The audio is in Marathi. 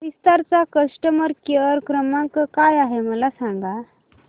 विस्तार चा कस्टमर केअर क्रमांक काय आहे मला सांगा